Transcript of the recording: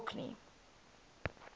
orkney